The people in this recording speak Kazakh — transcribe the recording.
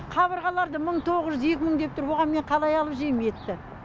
қабырғаларды мың тоғыз жүз екі мың деп тұр оған мен қалай алып жейм етті